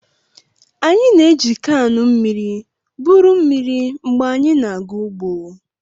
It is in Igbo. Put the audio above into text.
Anyị na-eji kaanụ mmiri buru mmiri mgbe anyị na-aga ugbo.